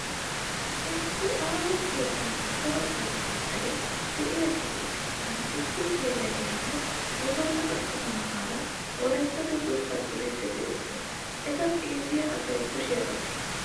Issi aaho keettan cora baltteetayi diyaageetu sinttan issi geela'eeranne womdalla attuma na'aara wolayittatto durssa duriiddi doosona. Eta xeelliya asayi kushiyaa baqqes.